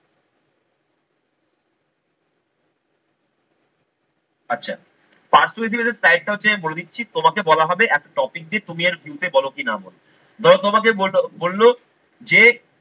আচ্ছা persuasive essay type টা হচ্ছে আমি বলে দিচ্ছি তোমাকে বলা হবে একটা topic দিয়ে তুমি এর view বলো কি নাম বলো। ধরো তোমাকে বলল যে